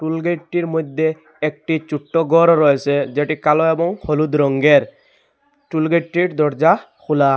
টুল গেটটির মইধ্যে একটি ছুট্ট গরও রয়েসে এটি কালো এবং হলুদ রঙ্গের টুল গেটটির দরজা খোলা।